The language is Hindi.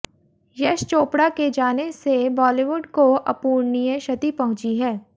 यश चोपड़ा के जाने से बालीवुड को अपूर्णीय क्षति पहुंची है